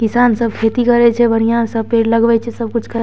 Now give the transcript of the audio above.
किसान सब खेती करे छै बढ़िया से पेड़ लगबे छै सब कुछ करे छै ।